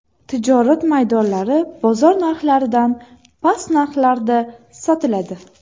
Tijorat maydonlari bozor narxlaridan past narxlarda sotiladi.